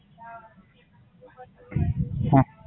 હા.